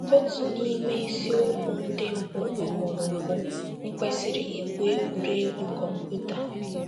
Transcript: Otu n’ime isiokwu ndị mbụ ọ họọrọ bụ ‘ M̀ Kwesịrị Igwu Egwuregwu Kọmputa? ’